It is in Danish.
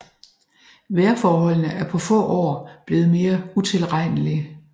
Vejrforholdene er på få år blevet mere utilregnelige